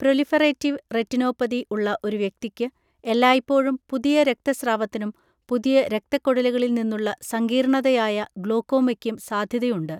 Proliferative retinopathy ഉള്ള ഒരു വ്യക്തിക്ക് എല്ലായ്പ്പോഴും പുതിയ രക്തസ്രാവത്തിനും പുതിയ രക്തക്കുഴലുകളിൽ നിന്നുള്ള സങ്കീർണ്ണതയായ ഗ്ലോക്കോമയ്ക്കും സാധ്യതയുണ്ട്.